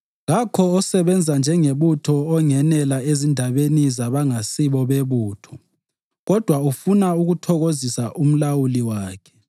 Kakho osebenza njengebutho ongenela ezindabeni zabangasibo bebutho kodwa ufuna ukuthokozisa umlawuli wakhe.